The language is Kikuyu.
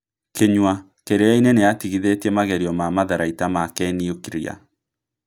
kinyua: Kirĩainĩ nĩatigithetie magerio ma matharaita ma kĩniũkria